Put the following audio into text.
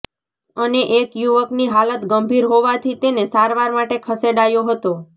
અને એક યુવકની હાલત ગંભીર હોવાથી તેને સારવાર માટે ખસેડાયો હતો